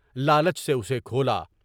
لالچ سے اُسے کھولا۔